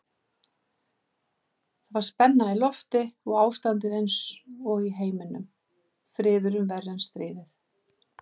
Það var spenna í lofti og ástandið einsog í heiminum, friðurinn verri en stríðið.